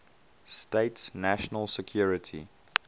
states national security